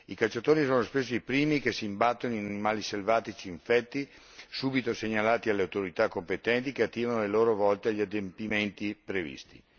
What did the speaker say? I cacciatori sono spesso i primi che si imbattono in animali selvatici infetti, subito segnalati alle autorità competenti che attivano a loro volta gli adempimenti previsti.